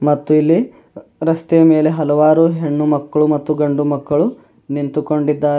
ಮತ್ತು ಇಲ್ಲಿ ರಸ್ತೆ ಮೇಲೆ ಹಲವಾರು ಹೆಣ್ಣು ಮಕ್ಕಳು ಮತ್ತು ಗಂಡು ಮಕ್ಕಳು ನಿಂತುಕೊಂಡಿದ್ದಾರೆ.